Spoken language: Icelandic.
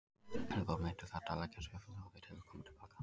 Þegar þú ert meiddur þarftu að leggja tvöfalt á þig til að koma til baka.